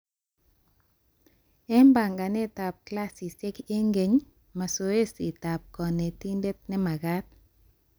Eng banganetab klasishek eng kenyi ,mazoesitab konetindet nemaagat